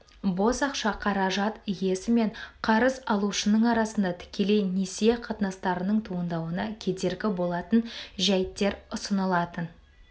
бос ақша қаражат иесі мен қарыз алушының арасында тікелей несие қатынастарының туындауына кедергі болатын жәйіттер ұсынылатын